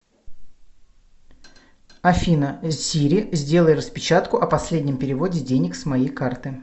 афина сири сделай распечатку о последнем переводе денег с моей карты